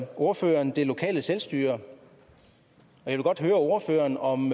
ordføreren det lokale selvstyre jeg vil godt høre ordføreren om